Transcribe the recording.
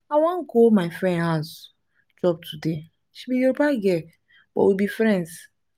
i wan go my friend house chop today. she be yoruba girl but we be friends